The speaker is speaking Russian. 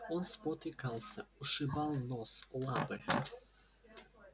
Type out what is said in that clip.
он спотыкался ушибал нос лапы